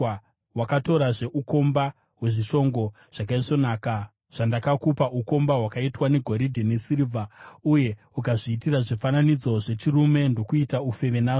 Wakatorazve ukomba hwezvishongo zvakaisvonaka zvandakakupa, ukomba hwakaitwa negoridhe nesirivha, uye ukazviitira zvifananidzo zvechirume ndokuita ufeve nazvo.